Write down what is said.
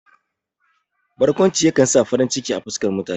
Barkwanci ya kan sa farin ciki a fuskan mutane.